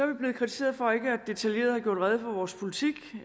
vi blevet kritiseret for ikke detaljeret at have gjort rede for vores politik